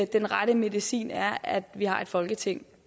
den rette medicin er at vi har et folketing